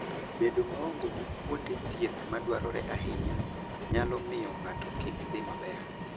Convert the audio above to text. Bedo maonge gi kuonde thieth madwarore ahinya nyalo miyo ng'ato kik dhi maber.